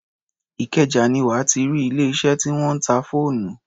Ìkẹjà ni wà á ti rí ilé-iṣẹ́ tí wọ́n ń ta fóònù.